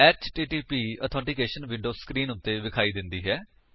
HTTP authentication window screen ਉੱਤੇ ਵਿਖਾਈ ਦਿੰਦੀ ਹੈ